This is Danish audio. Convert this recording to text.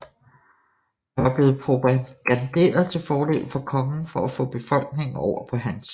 Der var blevet propaganderet til fordel for kongen for at få befolkningen over på hans side